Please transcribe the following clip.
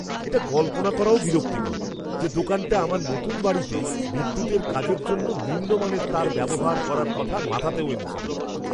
এটা কল্পনা করাও বিরক্তিকর যে দোকানটা আমার নতুন বাড়িতে বিদ্যুতের কাজের জন্য নিম্নমানের তার ব্যবহার করার কথা মাথাতেও এনেছিল!